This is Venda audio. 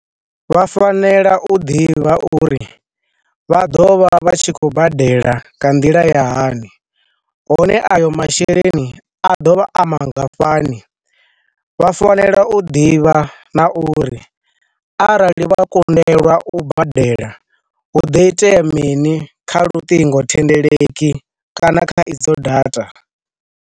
Vha fanela u ḓivha uri vha ḓovha vha tshi khou badela nga nḓila ya hani, hone ayo masheleni a dovha a mangafhani, vha fanela u ḓivha na uri arali vha kundelwa u badela, hu do itea mini kha luṱingothendeleki kana kha idzo data.